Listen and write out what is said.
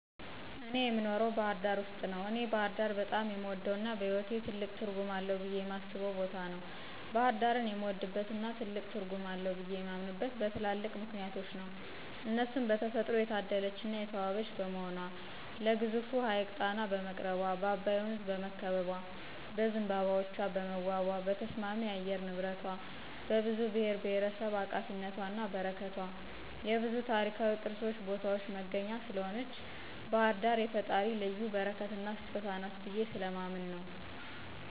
እኔ የኖረው ባህርዳር ውስጥ ነው። እኔ ባህርዳር በጣም የምወደው እና በህይዎቴ ትልቅ ትርጉም አለው ብየ የማስበው ቦታ ነው። ባሕርዳርን የምወድበትና ትልቅ ትርጉም አለው ብየ የማምነበት በትላልቅ ምክንያቶች ነው እነርሱም በተፈጥሮ የታደለች እና የተዋበች በመሆኗ ለግዙፉ ሀይቅ ጣና በመቅረቧ፣ በአባይ ወንዝ በመከበቧ፣ በዝንባባዎቿ በመዋቧ፣ በተስማሚ የአየር ንብረቷ፣ በብዙ ብሔርብሔረሰብ አቃፊነቷና በረከቷ፣ የብዙ ታሪካዊ ቅርሶችን ቦታዎች መገኛ ስምህን ባህርዳር የፈጣሪ ልዩ በረከትና ስጦታ ናት ብየ ስለማምን ነው።